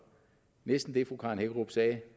næsten det fru karen hækkerup sagde